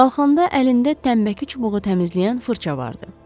Qalxanda əlində təmbəki çubuğu təmizləyən fırça vardı.